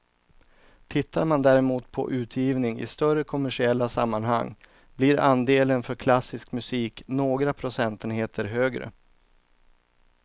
Tittar man däremot på utgivning i större kommersiella sammanhang blir andelen för klassisk musik några procentenheter högre.